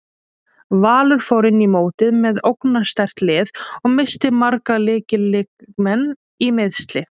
Valur fór inn í mótið með ógnarsterkt lið og missti marga lykil leikmenn í meiðsli.